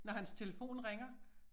Når hans telefon ringer